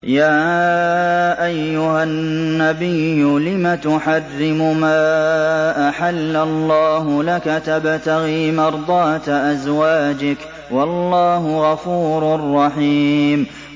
يَا أَيُّهَا النَّبِيُّ لِمَ تُحَرِّمُ مَا أَحَلَّ اللَّهُ لَكَ ۖ تَبْتَغِي مَرْضَاتَ أَزْوَاجِكَ ۚ وَاللَّهُ غَفُورٌ رَّحِيمٌ